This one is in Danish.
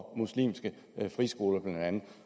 muslimske friskoler blandt andet